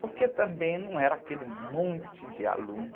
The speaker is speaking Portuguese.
porque também não era aquele monte de aluno.